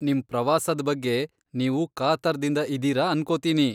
ನಿಮ್ ಪ್ರವಾಸದ್ ಬಗ್ಗೆ ನೀವು ಕಾತರ್ದಿಂದ ಇದೀರ ಅನ್ಕೋತೀನಿ.